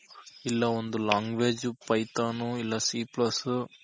ಇಲ್ಲ ಒಂದು language python ಇಲ್ಲ c plus